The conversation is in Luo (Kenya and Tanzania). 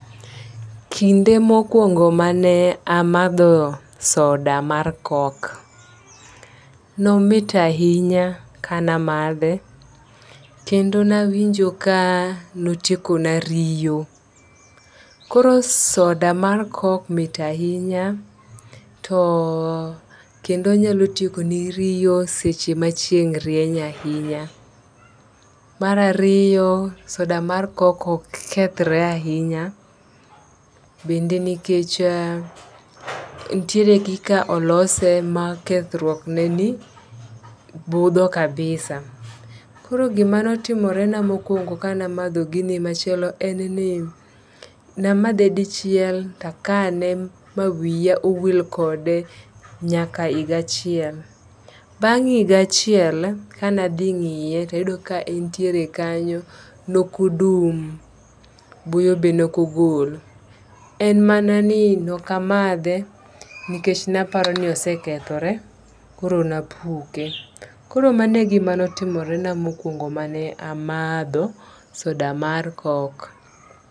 Kinde mokwongo mane amadho soda mar kok nomit ahinya kana madhe kendo nawinjo ka notiekona riyo. Koro soda mar kok mit ahinya to kendo onyalo tieko ni riyo seche ma chieng' rieny ahinya. Mar ariyo soda mar kok ok kethre ahinya bende nikech ntiere kaka olose ma kethruok neni budho kabisa. Koro gimoro timore na mokwongo kana madho gini machielo en ni namadhe dichiel takane mawiya owil kode nyaka ahiga achiel. Bang' higa achiel kana dhi ng'iye tayudo ka entie kanyo nokodum buoyo be nokogol. En mana ni nokamadhe nikech napoaro ni osekethjore koro napuke. Koro mano e gima notimorena mokwongo mane amadho soda mar kok.